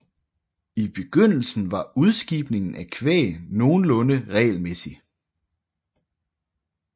I begyndelsen var udskibningen af kvæg nogenlunde regelmæssig